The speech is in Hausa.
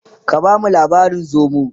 ka bamu labarin zomo!